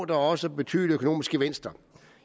der også betydelige økonomiske gevinster